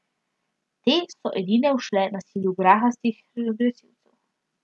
Te so edine ušle nasilju grahastih agresivcev.